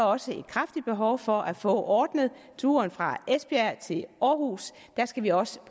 også et kraftigt behov for at få ordnet turen fra esbjerg til aarhus der skal vi også